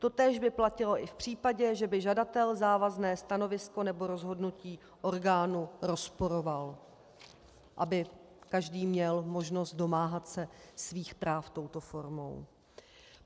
Totéž by platilo i v případě, že by žadatel závazné stanovisko nebo rozhodnutí orgánu rozporoval, aby každý měl možnost domáhat se svých práv touto formou.